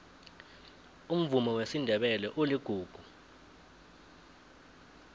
umvumo wesindebele uligugu